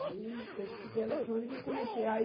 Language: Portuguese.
Aí, eu estudei eletrônica e comecei. Aí